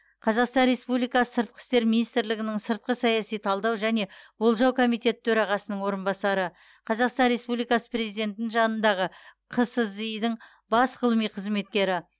қазақстан республикасы сыртқы істер министрлігінің сыртқы саяси талдау және болжау комитеті төрағасының орынбасары қазақстан республикасы президентінің жанындағы қсзи дың бас ғылыми қызметкері